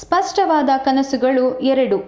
ಸ್ಪಷ್ಟವಾದ ಕನಸುಗಳು ಎರಡು